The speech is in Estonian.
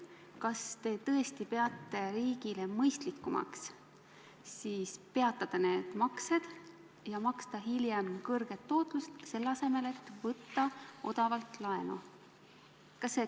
Kas te tõesti peate riigile mõistlikumaks peatada need maksed ja maksta hiljem kõrget tootlust, selle asemel et võtta odavalt laenu?